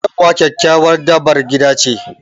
Kyanwa kyakkyawar dabar gida ce